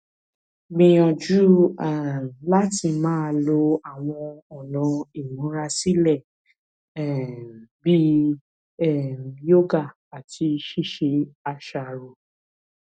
gbìyànjú um láti máa lo àwọn ọnà ìmúra sílẹ um bí um yoga àti ṣíṣe àṣàrò